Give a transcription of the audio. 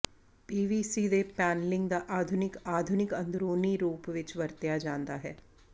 PVC ਦੇ panelling ਦਾ ਆਧੁਨਿਕ ਆਧੁਨਿਕ ਅੰਦਰੂਨੀ ਰੂਪ ਵਿੱਚ ਵਰਤਿਆ ਜਾਂਦਾ ਹੈ